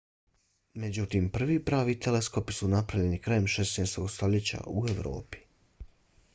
međutim prvi pravi teleskopi su napravljeni krajem 16. stoljeća u evropi